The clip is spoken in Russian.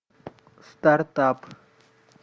стартап